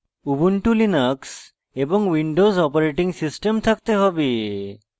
ubuntulinux এবং windows operating system থাকতে have